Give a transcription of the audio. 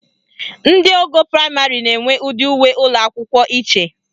Ndị ogo praịmarị na-enwe ụdị uwe ụlọakwụkwọ iche